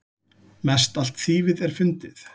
Mestallt þýfið er fundið.